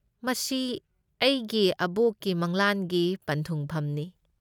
ꯃꯁꯤ ꯑꯩꯒꯤ ꯑꯕꯣꯛꯀꯤ ꯃꯪꯂꯥꯟꯒꯤ ꯄꯟꯊꯨꯡꯐꯝꯅꯤ꯫